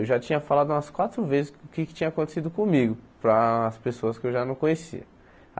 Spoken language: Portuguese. Eu já tinha falado umas quatro vezes o que é que tinha acontecido comigo para as pessoas que eu já não conhecia.